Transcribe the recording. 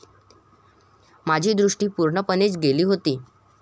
माझी दृष्टी पूर्णपणेच गेली होती.